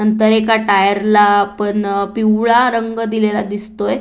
नंतर एका टायर ला आपण पिवळा रंग दिलेला दिसतोय.